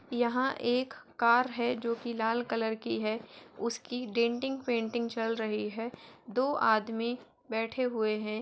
यहाँं एक कार है जोकि लाल कलर की है उसकी डेंटिंग पेंटिंग चल रही है दो आदमी बैठे हुए हैं।